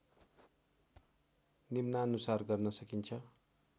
निम्नानुसार गर्न सकिन्छ